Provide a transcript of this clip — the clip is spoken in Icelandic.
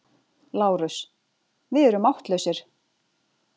LÁRUS: Við erum máttlausir.